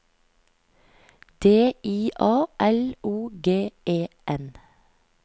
D I A L O G E N